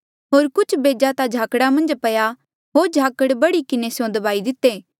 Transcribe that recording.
होर कुछ बेजा ता झाकड़ा मन्झ पया होर झाकड़ बढ़ी किन्हें स्यों दबाई दिते होर फली नी पाए